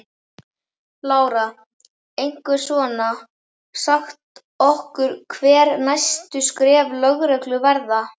Lára: Einhver svona, sagt okkur hver næstu skref lögreglu verða?